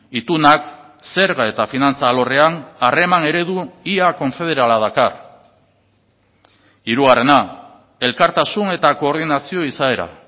itunak zerga eta finantza alorrean harreman eredu ia konfederala dakar hirugarrena elkartasun eta koordinazio izaera